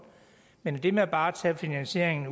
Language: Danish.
men det med bare at tage finansieringen